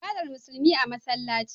Ibadar musulmi a masallaci